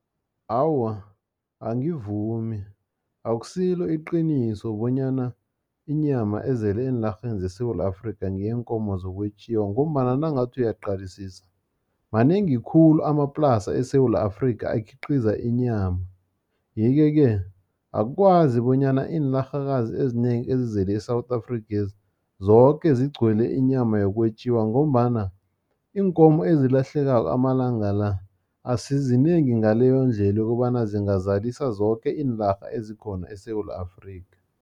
Awa, angivumi, akusilo iqiniso bonyana inyama ezele eenarheni zeSewula Afrika ngeyeenkomo zokwetjiwa, ngombana nawungathi uyaqalisisa manengi khulu amaplasa eSewula Afrika akhiqiza inyama. Yeke-ke, akwazi bonyana iinarhakazi ezinengi ezizele e-South Afrikhezi, zoke zigcwele inyama yokwetjiwa, ngombana iinkomo ezilahlekako amalanga la, asizinengi ngaleyondlela ukobana zingazalisa zoke iinarha ezikhona eSewula Afrika.